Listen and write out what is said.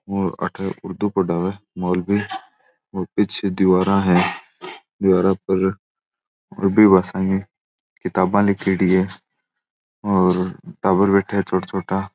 और अठे उर्दू पढ़ावे मौलवी और पीछे दीवारा है दीवारा पर और भी भाषाऐ है किताबा लिखेड़ी है और टाबर बैठा है छोटा छोटा।